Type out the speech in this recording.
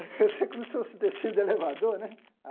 como se fosse descendo do elevador, né?